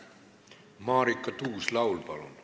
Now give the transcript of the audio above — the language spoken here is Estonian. Marika Tuus-Laul, palun!